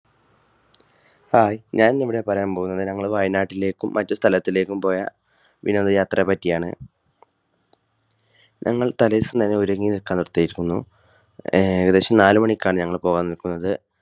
Hi ഞാൻ ഇന്ന് ഇവിടെ പറയാൻ പോകുന്നത് ഞങ്ങൾ വയനാട്ടിലേക്കും മറ്റു സ്ഥലത്തിലേക്കും പോയ വിനോദയാത്രയെ പറ്റിയാണ്. ഞങ്ങൾ തലേദിവസം തന്നെ ഒരുങ്ങി നിൽകാൻ ഉദ്ദേശിക്കുന്നു. ഏകദേശം നാലുമണിക്കാണ് ഞങ്ങൾ പോവാൻ നിൽക്കുന്നത്.